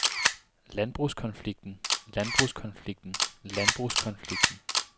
landbrugskonflikten landbrugskonflikten landbrugskonflikten